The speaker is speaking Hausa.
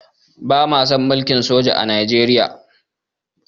Ba ma son mulkin soja a Nijeriya